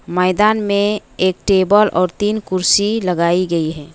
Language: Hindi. मैदान में एक टेबल और तीन कुर्सी लगाई गई है।